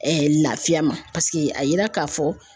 lafiya ma paseke a yira k'a fɔ.